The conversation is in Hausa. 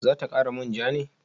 Za ta kara manja ne?